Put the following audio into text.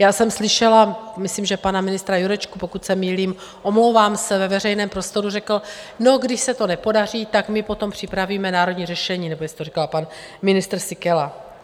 Já jsem slyšela, myslím, že pana ministra Jurečku - pokud se mýlím, omlouvám se - ve veřejném prostoru řekl: No, když se to nepodaří, tak my potom připravíme národní řešení, nebo jestli to říkal pan ministr Síkela?